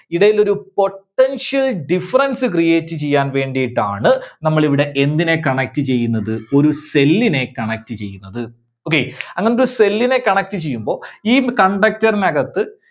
ഇടയിലൊരു potential difference create ചെയ്യാൻവേണ്ടിയിട്ടാണ് നമ്മള് ഇവിടെ എന്തിനെ connect ചെയ്യുന്നത്? ഒരു cell നെ connect ചെയ്യുന്നത്. okay, അങ്ങനത്തെ ഒരു cell നെ connect ചെയ്യുമ്പോ ഈ conductor ന് അകത്ത്